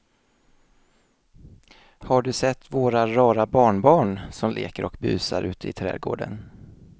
Har du sett våra rara barnbarn som leker och busar ute i grannträdgården!